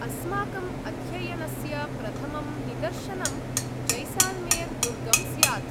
अस्माकम् अध्ययनस्य प्रथमं निदर्शनं जैसाल्मेर् दुर्गं स्यात्।